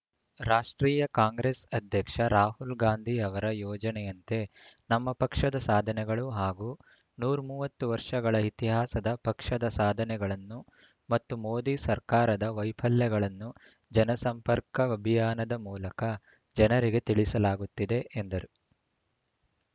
ರಾಷ್ಟ್ರೀಯ ಕಾಂಗ್ರೆಸ್‌ ಅಧ್ಯಕ್ಷ ರಾಹುಲ್‌ ಗಾಂಧಿ ಅವರ ಯೋಜನೆಯಂತೆ ನಮ್ಮ ಪಕ್ಷದ ಸಾಧನೆಗಳು ಹಾಗೂ ನೂರ ಮೂವತ್ತು ವರ್ಷಗಳ ಇತಿಹಾಸದ ಪಕ್ಷದ ಸಾಧನೆಗಳನ್ನು ಮತ್ತು ಮೋದಿ ಸರ್ಕಾರದ ವೈಫಲ್ಯಗಳನ್ನು ಜನಸಂಪರ್ಕ ಅಭಿಯಾನದ ಮೂಲಕ ಜನರಿಗೆ ತಿಳಿಸಲಾಗುತ್ತಿದೆ ಎಂದರು